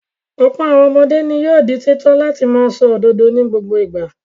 Ọ̀pọ̀ àwọn ọmọdé ni yóò di títọ́ láti máa sọ òdodo ní gbogbo ìgbà.